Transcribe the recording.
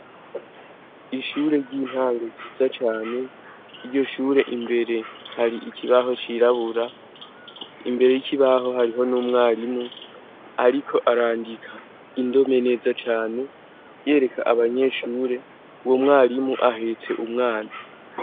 Ishure ry'intango ryiza cane iryo shure imbere hari ikibaho cirabura imbere yikibaho hariho n'umwarimu, ariko arandika indome neza cane yereka abanyeshure uwo mwarimu ahetse umwana.